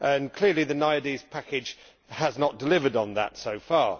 Clearly, the NAIADES II Package has not delivered on that so far.